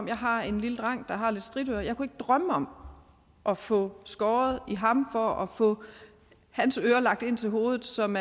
jeg har en lille dreng der har lidt stritører og jeg kunne ikke drømme om at få skåret i ham for at få hans ører lagt ind til hovedet selv om